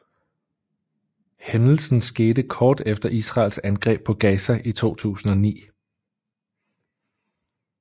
Hændelsen skete kort efter Israels angreb på Gaza i 2009